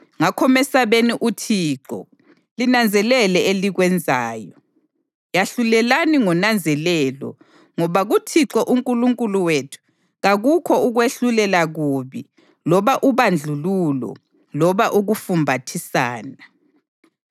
Ngakho mesabeni uThixo linanzelele elikwenzayo, yahlulelani ngonanzelelo ngoba kuThixo uNkulunkulu wethu kakukho ukwehlulela kubi loba ubandlululo loba ukufumbathisana.”